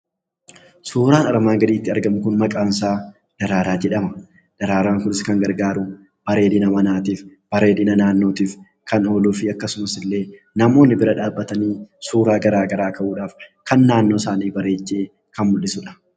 Suuraan armaan gaditti argamu kun maqaan isaa daraaraa jedhama. Daraaraan kunis kan gargaaru bareedina manaatiif, bareedina naannootiif kan ooluufi akkasumasillee namoonni bira dhaabbatanii suuraa garaagaraa ka'uudhaaf kan naannoosaanii bareechee kan mul'isudha.